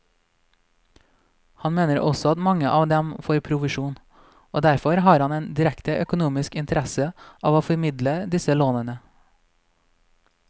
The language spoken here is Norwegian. Han mener også at mange av dem får provisjon, og derfor har en direkte økonomisk interesse av å formidle disse lånene.